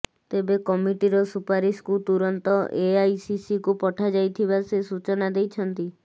ତେବେ କମିଟିର ସୁପାରିସକୁ ତୁରନ୍ତ ଏଆଇସିସିକୁ ପଠାଯାଇଥିବା ସେ ସୂଚନା ଦେଇଛନ୍ତି